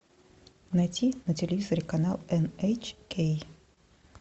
найти на телевизоре канал эн эйч кей